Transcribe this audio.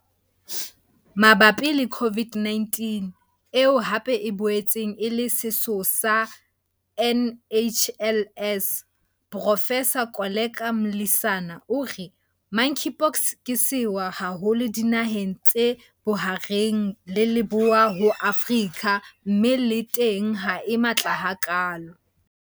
Mabapi le COVID-19, eo hape e boetseng e le setho sa NHLS, Profesara Koleka Mlisana, o re Monkeypox ke sewa haholo dinaheng tse Bohareng le Leboya ho Afrika mme le teng ha e matla hakalo.